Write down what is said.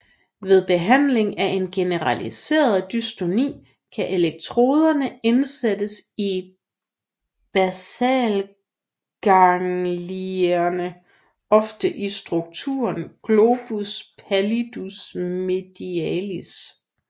Ved behandling af generaliseret dystoni kan elektroderne indsættes i basalganglierne ofte i strukturen globus pallidus medialis